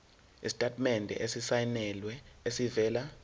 isitatimende esisayinelwe esivela